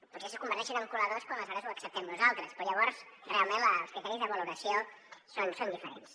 potser sí que ho converteixen en coladors quan aleshores ho acceptem nosaltres però llavors realment els criteris de valoració són diferents